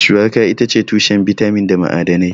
Shuwaka itace tushen bitamin da ma'adanai.